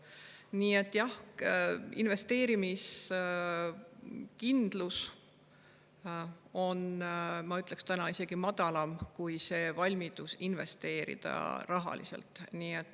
Nii et jah, investeerimiskindlus on, ma ütleksin, isegi madalam kui rahaline valmidus investeerida.